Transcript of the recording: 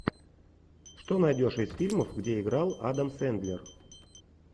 что найдешь из фильмов где играл адам сэндлер